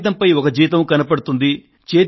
కాగితంపై ఒక జీతం కనబడుతుంది